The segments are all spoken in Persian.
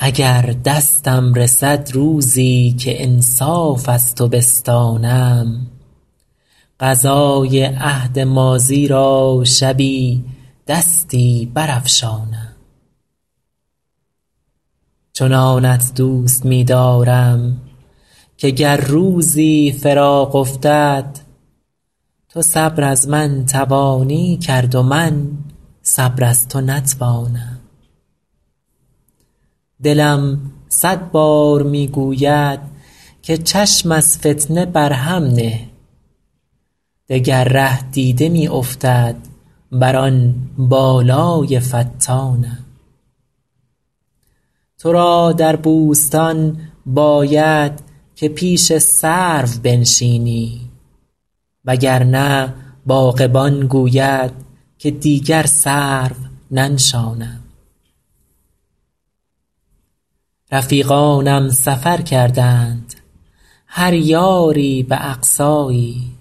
اگر دستم رسد روزی که انصاف از تو بستانم قضای عهد ماضی را شبی دستی برافشانم چنانت دوست می دارم که گر روزی فراق افتد تو صبر از من توانی کرد و من صبر از تو نتوانم دلم صد بار می گوید که چشم از فتنه بر هم نه دگر ره دیده می افتد بر آن بالای فتانم تو را در بوستان باید که پیش سرو بنشینی وگرنه باغبان گوید که دیگر سرو ننشانم رفیقانم سفر کردند هر یاری به اقصایی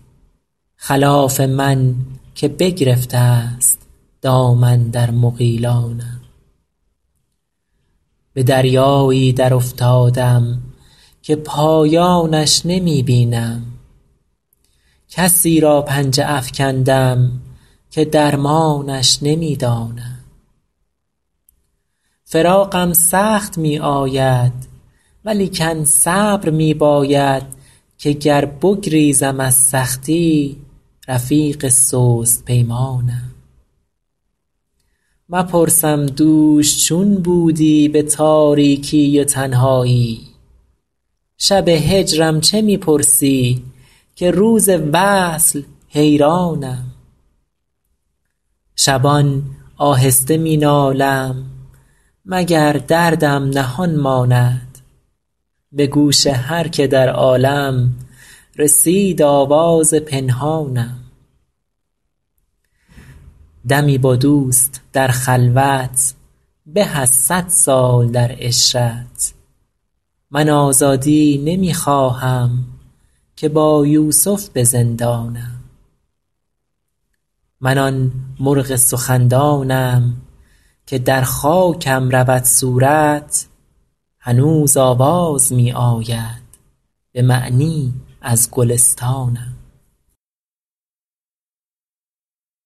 خلاف من که بگرفته است دامن در مغیلانم به دریایی درافتادم که پایانش نمی بینم کسی را پنجه افکندم که درمانش نمی دانم فراقم سخت می آید ولیکن صبر می باید که گر بگریزم از سختی رفیق سست پیمانم مپرسم دوش چون بودی به تاریکی و تنهایی شب هجرم چه می پرسی که روز وصل حیرانم شبان آهسته می نالم مگر دردم نهان ماند به گوش هر که در عالم رسید آواز پنهانم دمی با دوست در خلوت به از صد سال در عشرت من آزادی نمی خواهم که با یوسف به زندانم من آن مرغ سخندانم که در خاکم رود صورت هنوز آواز می آید به معنی از گلستانم